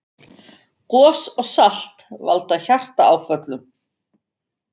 Gos og salt valda hjartaáföllum